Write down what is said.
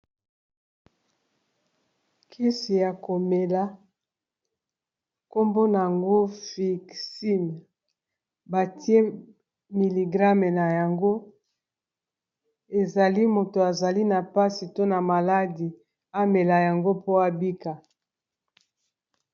Kisi ya komela nkombo nango fixime batie miligrame na yango ezali moto azali na mpasi to na maladi amela yango po abika.